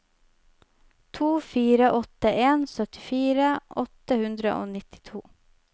to fire åtte en syttifire åtte hundre og nittito